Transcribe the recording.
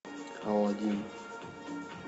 аладдин